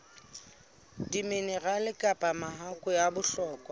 diminerale kapa mahakwe a bohlokwa